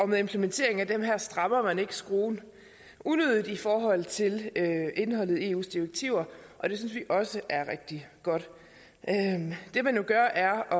med implementeringen af det her strammer man ikke skruen unødigt i forhold til indholdet i eus direktiver og det synes vi også er rigtig godt det man gør er at